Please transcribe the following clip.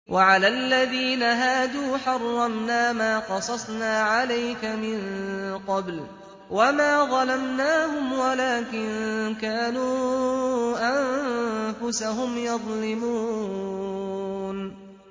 وَعَلَى الَّذِينَ هَادُوا حَرَّمْنَا مَا قَصَصْنَا عَلَيْكَ مِن قَبْلُ ۖ وَمَا ظَلَمْنَاهُمْ وَلَٰكِن كَانُوا أَنفُسَهُمْ يَظْلِمُونَ